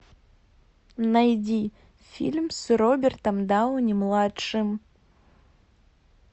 найди фильм с робертом дауни младшим